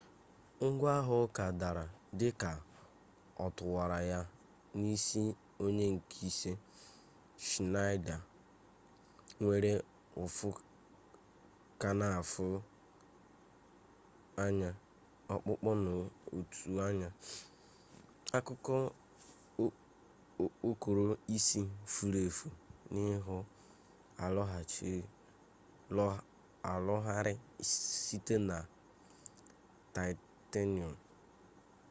ngwa agha uka dara dị ka ọ tụwara ya n'isi ony nke ise schneider nwere ụfụ ka na-afụ anya ọkpụkpọ n'otu anya akụkụ okpokoro isi furu efu na ihu arụgharịrị site na taịtenọm